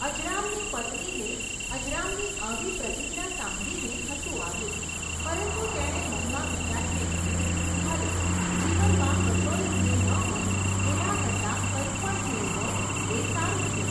અજરામની પત્નીને, અજરામની આવી પ્રતિજ્ઞા સાંભળીને હસુ આવ્યું, પરંતુ તેણે મનમાં વિચારીને કહ્યું, ભલે, જીવનમાં કશોય ધ્યેય ન હોય, એના કરતાં કંઈક પણ ધ્યેય હોય એ સારું છે.